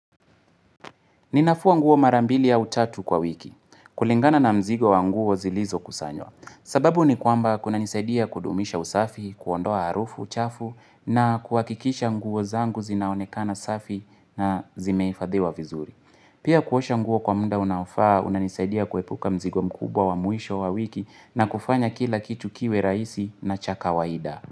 Ninafua nguo mara mbili au tatu kwa wiki. Kulingana na mzigo wa nguo zilizokusanywa. Sababu ni kwamba kunanisaidia kudumisha usafi, kuondoa harufu, chafu na kuhakikisha nguo zangu zinaonekana safi na zimehifadhiwa vizuri. Pia kuosha nguo kwa muda unaofaa, unanisaidia kuepuka mzigo mkubwa wa mwisho wa wiki na kufanya kila kitu kiwe rahisi na cha kawaida.